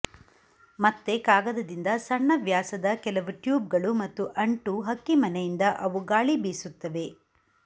ಮತ್ತೆ ಕಾಗದದಿಂದ ಸಣ್ಣ ವ್ಯಾಸದ ಕೆಲವು ಟ್ಯೂಬ್ಗಳು ಮತ್ತು ಅಂಟು ಹಕ್ಕಿಮನೆಯಿಂದ ಅವು ಗಾಳಿ ಬೀಸುತ್ತವೆ